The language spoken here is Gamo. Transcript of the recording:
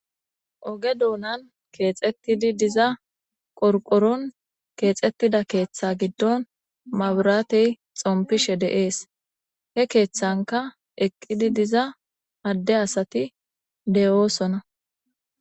Oge duunan keexettidi diza qorqoron keexettida keeththe giddon maburatey xompishe deees he keeththanka eqqidi diza adde asati deyoosona